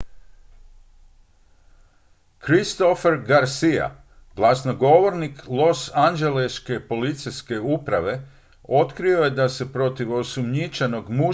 christopher garcia glasnogovornik losanđeleške policijske uprave otkrio je da se protiv osumnjičenog muškog počinitelja provodi istraga zbog neovlaštenog ulaza a ne vandalizma